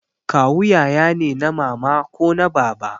Kawu yaya ne na mama ko na baba